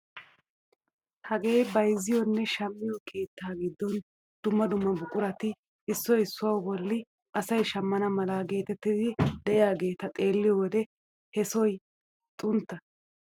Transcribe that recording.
Hagee bayzziyoonne shammiyoo keettaa giddon dumma dumma buqurati issoy issuwaa bolli asay shammana mala geetettidi de'iyaageta xeelliyo wode he sohoy xuntta.